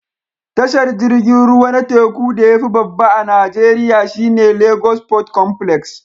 Tashar jirgin ruwa na teku da ya fi babba a Najeriya shi ne Lagos Port Complex